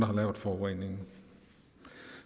har lavet forureningen